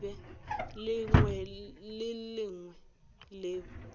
lengwe le le lengwe leo